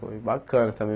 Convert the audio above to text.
Foi bacana também.